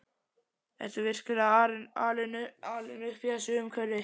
Ertu virkilega alinn upp í þessu umhverfi?